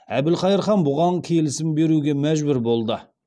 әбілқайыр хан бұған келісім беруге мәжбүр болады